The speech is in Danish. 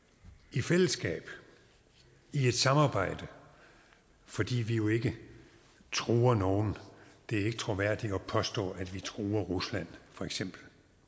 i fællesskab i et samarbejde fordi vi jo ikke truer nogen det er ikke troværdigt at påstå at vi truer rusland for eksempel